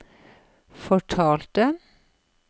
forfalte